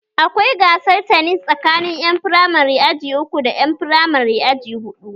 Akwai gasar tanis tsakanin ƴan firamare aji uku da ƴan firamare aji huɗu